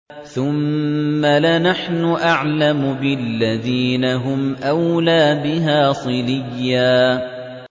ثُمَّ لَنَحْنُ أَعْلَمُ بِالَّذِينَ هُمْ أَوْلَىٰ بِهَا صِلِيًّا